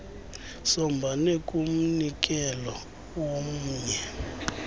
sombane kumnikelo womnye